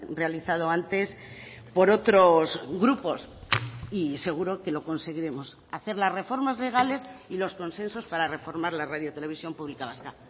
realizado antes por otros grupos y seguro que lo conseguiremos hacer las reformas legales y los consensos para reformar la radio televisión pública vasca